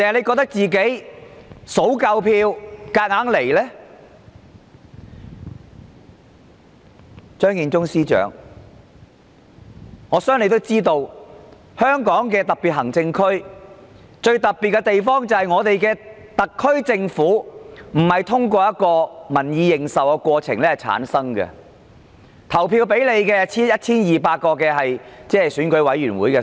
我相信張建宗司長也應該知道，香港特別行政區最特別的地方，便是特區政府並不是透過獲民意認受的過程產生，有權投票選出行政長官的人，只有 1,200 名選舉委員會委員。